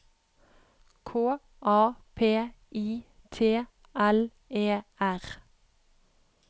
K A P I T L E R